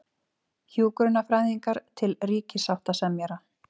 Hjúkrunarfræðingar til ríkissáttasemjara